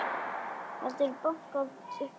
Heldur bankar upp á.